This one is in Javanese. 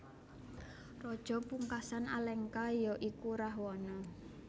Raja pungkasan Alengka ya iku Rahwana